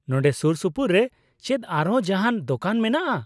ᱱᱚᱸᱰᱮ ᱥᱩᱨᱥᱩᱯᱩᱨ ᱨᱮ ᱪᱮᱫ ᱟᱨᱦᱚᱸ ᱡᱟᱦᱟᱱ ᱫᱳᱠᱟᱱ ᱢᱮᱱᱟᱜᱼᱟ ?